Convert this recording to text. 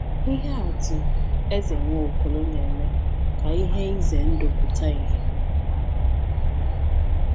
Ihe atụ Eze Nwaokolo na-eme ka ihe ize ndụ pụta ìhè.